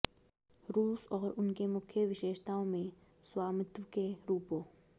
रूस और उनके मुख्य विशेषताओं में स्वामित्व के रूपों